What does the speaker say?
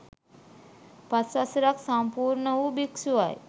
පස් වසරක් සම්පූර්ණ වූ භික්ෂුවයි.